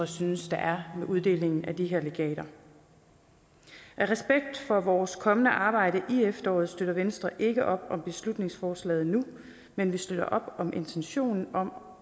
synes der er med uddelingen af de her legater af respekt for vores kommende arbejde i efteråret støtter venstre ikke op om beslutningsforslaget nu men vi støtter op om intentionen om